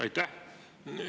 Aitäh!